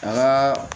An ka